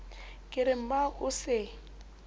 ke re mmao o se